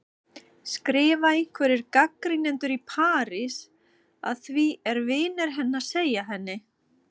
skrifa einhverjir gagnrýnendur í París, að því er vinir hennar segja henni.